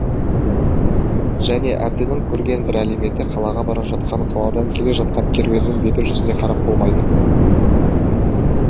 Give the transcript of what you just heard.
және әбдінің көрген бір әлеметі қалаға бара жатқан қаладан келе жатқан керуеннің беті жүзіне қарап болмайды